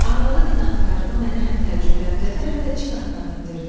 Arvadın inadkarlığı məni həm təəccübləndirdi, həm də cin atına mindirdi.